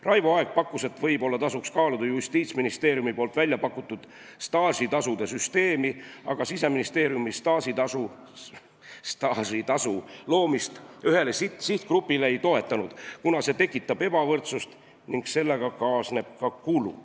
Raivo Aeg arvas, et võib-olla tasuks kaaluda Justiitsministeeriumi välja pakutud staažitasude süsteemi, aga Siseministeerium staažitasu loomist ühele sihtgrupile ei toetanud, kuna see tekitab ebavõrdsust ning sellega kaasneb ka kulu.